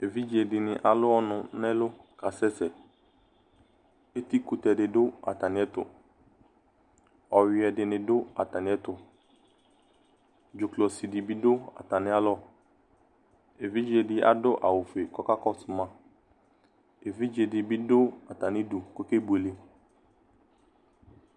Évidzé dini alu ɔnu nɛ ɛlu ka asɛsɛ Éti kutɛ di du atami du Ɔyʊɛ dini du atamiɛ tu Ɖjukɔ si di bi du atamia lɔ Éʋidjedi adu awu fué kɔ ɔkakɔsu maa Évidjé di bi du atami dʊ ko oké bué lé